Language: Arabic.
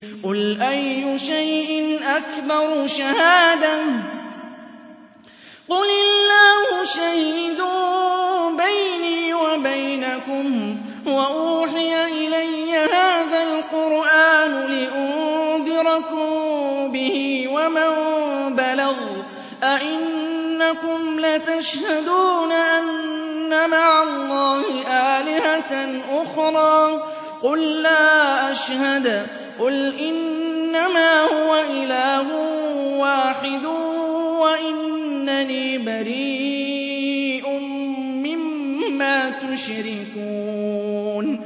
قُلْ أَيُّ شَيْءٍ أَكْبَرُ شَهَادَةً ۖ قُلِ اللَّهُ ۖ شَهِيدٌ بَيْنِي وَبَيْنَكُمْ ۚ وَأُوحِيَ إِلَيَّ هَٰذَا الْقُرْآنُ لِأُنذِرَكُم بِهِ وَمَن بَلَغَ ۚ أَئِنَّكُمْ لَتَشْهَدُونَ أَنَّ مَعَ اللَّهِ آلِهَةً أُخْرَىٰ ۚ قُل لَّا أَشْهَدُ ۚ قُلْ إِنَّمَا هُوَ إِلَٰهٌ وَاحِدٌ وَإِنَّنِي بَرِيءٌ مِّمَّا تُشْرِكُونَ